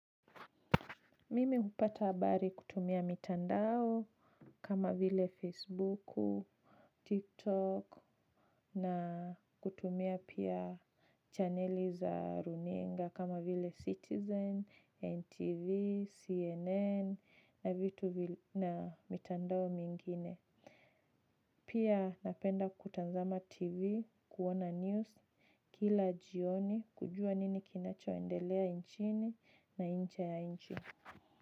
Mimi hupata habari kutumia mitandao kama vile Facebooku, TikTok na kutumia pia chaneli za runinga kama vile Citizen, NTV, CNN na vitu na mitandao mingine. Pia napenda kutazama TV kuona news kila jioni kujua nini kinachoendelea nchini na nje ya nchi.